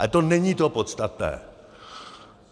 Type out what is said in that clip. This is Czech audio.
Ale to není to podstatné.